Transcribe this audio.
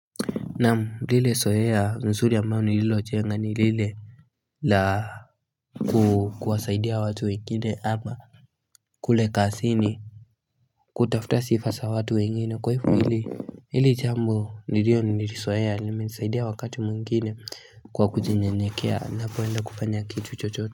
Naam lile sohea mzuri ambalo nililo njenga nilile la kuwasaidia watu wengine hapa kule kazini kutafuta sifa za watu wengine kwa hivo ili ili jambo nililo lizohea limesaidia wakati mwengine kwa kujinyenyekea napoenda kufanya kitu chochote.